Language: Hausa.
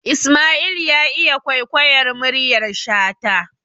Isma'il ya iya kwaikwayar muryar shata